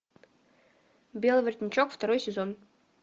белый воротничок второй сезон